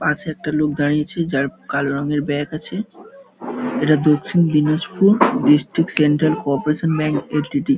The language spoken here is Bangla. পাশে একটা লোক দাঁড়িয়ে আছে যার কালো রংয়ের ব্যাগ আছে এটা Dakshin Dinajpur district bank LTD..